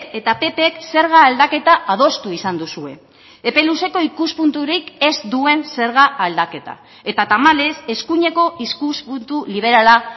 eta ppk zerga aldaketa adostu izan duzue epe luzeko ikuspunturik ez duen zerga aldaketa eta tamalez eskuineko ikuspuntu liberala